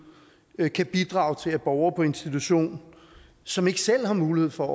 kan bidrage til at borgere på institution som ikke selv har mulighed for